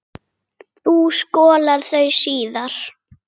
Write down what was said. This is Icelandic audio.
Þú skolar þau síðar.